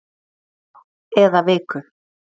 eða viku